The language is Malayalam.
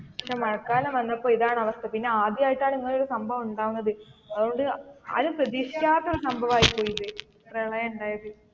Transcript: പക്ഷെ മഴകാലം വന്നപ്പോ ഇതാണ് അവസ്ഥ പിന്നെ ആദ്യം ആയിട്ടാണ് ഇങ്ങനെ ഒരു സംഭവം ഉണ്ടാവുന്നത് അതുകൊണ്ട് ആരും പ്രതീക്ഷിക്കാത്ത ഒരു സംഭവം ആയി പോയി ഇത് പ്രളയം ഉണ്ടായത്.